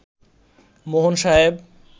মোহন সাহেব